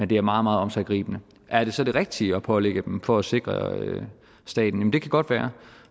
det er meget meget omsiggribende er det så det rigtige at pålægge dem for at sikre staten det kan godt være